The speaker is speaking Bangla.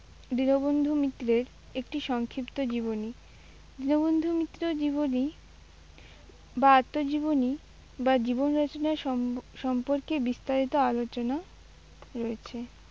দীনবন্ধু মিত্রের একটি সংক্ষিপ্ত জীবনী। দীনবন্ধু মিত্রর জীবনী বা আত্মজীবনী বা জীবন রচনার সম-সম্পর্কে বিস্তারিত আলোচনা রয়েছে।